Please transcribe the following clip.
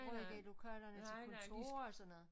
Bruge lokalerne til kontor og sådan noget